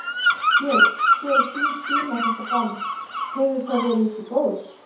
Björn: Hver er þín sýn á þetta bann, hefur það verið til góðs?